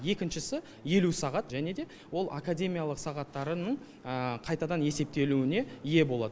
екіншісі елу сағат және де ол академиялық сағаттарының қайтадан есептелуіне ие болады